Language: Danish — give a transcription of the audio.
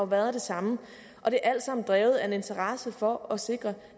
været den samme og det er alt sammen drevet af en interesse for at sikre